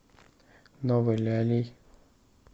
новой лялей